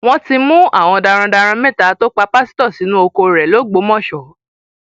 wọn ti mú àwọn darandaran mẹta tó pa pásítọ sínú oko rẹ l'ogbomọsọ